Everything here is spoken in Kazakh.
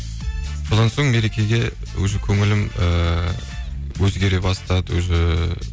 содан соң мерекеге өз көңілім ііі өзгере бастады өзі